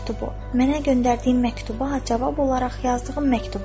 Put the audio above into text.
Mənə göndərdiyin məktuba cavab olaraq yazdığım məktubu?"